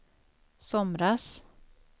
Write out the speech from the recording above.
somras